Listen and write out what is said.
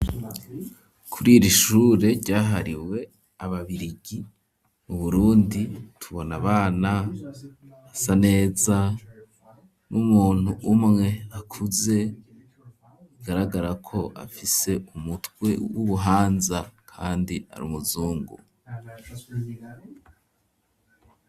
Kuri iri shure ryahariwe ababirigi mu Burundi, tubona abana basa neza, n'umuntu umwe akuze, bigaragara ko afise umutwe w'ubuhanza, kandi ari umuzungu.